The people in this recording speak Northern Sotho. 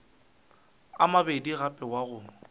a mabedi gape wa go